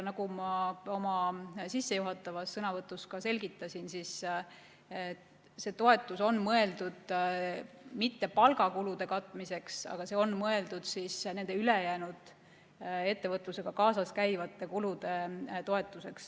Nagu ma oma sissejuhatavas sõnavõtus selgitasin, ei ole see toetus mõeldud mitte palgakulude katmiseks, vaid see on mõeldud nende ülejäänud, ettevõtlusega kaasas käivate kulude toetuseks.